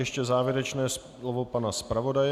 Ještě závěrečné slovo pana zpravodaje.